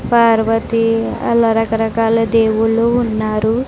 పార్వతి అలా రకరకాల దేవుళ్ళు ఉన్నారు.